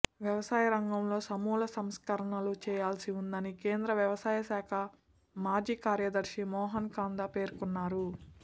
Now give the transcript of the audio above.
వ్యవసాయ రంగంలో సమూల సంస్కరణలు చేయాల్సి ఉందని కేంద్ర వ్యవసాయ శాఖ మాజీ కార్యదర్శి మోహన్ కందా పేర్కొన్నారు